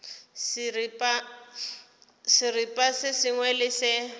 seripa se sengwe le se